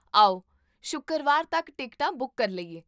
ਆਓ ਸ਼ੁੱਕਰਵਾਰ ਤੱਕ ਟਿਕਟਾਂ ਬੁੱਕ ਕਰ ਲਈਏ